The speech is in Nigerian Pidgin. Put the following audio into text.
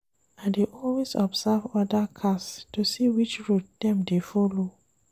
I dey always observe other cars to see which road dem dey folo.